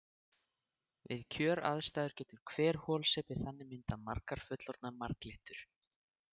Við kjöraðstæður getur hver holsepi þannig myndað margar fullorðnar marglyttur.